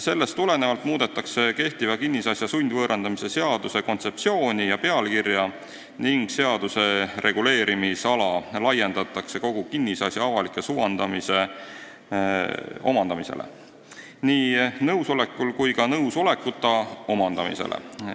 Sellest tulenevalt muudetakse kehtiva kinnisasja sundvõõrandamise seaduse kontseptsiooni ja pealkirja ning seaduse reguleerimisala laiendatakse kogu kinnisasja avalikes huvides omandamisele, nii omaniku nõusolekul kui ka nõusolekuta omandamisele.